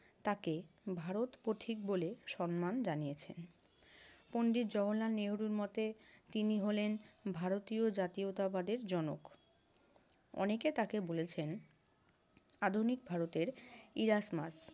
তাকে ভারতপথিক বলেও সম্মান জানিয়েছে। পণ্ডিত জওহরলাল নেহেরুর মতে, তিনি হলেন ভারতীয় জাতীয়তাবাদের জনক। অনেকে তাকে বলেছেন, আধুনিক ভারতের ইরাতমার্ক।